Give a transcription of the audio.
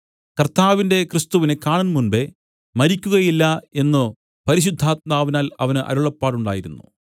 കർത്താവിന്റെ ക്രിസ്തുവിനെ കാണുംമുമ്പെ മരിക്കുകയില്ല എന്നു പരിശുദ്ധാത്മാവിനാൽ അവന് അരുളപ്പാട് ഉണ്ടായിരുന്നു